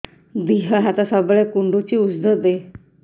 ଦିହ ହାତ ସବୁବେଳେ କୁଣ୍ଡୁଚି ଉଷ୍ଧ ଦେ